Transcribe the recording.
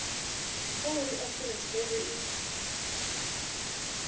kha uri afurika tshipembe i